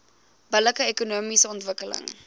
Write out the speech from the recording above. billike ekonomiese ontwikkeling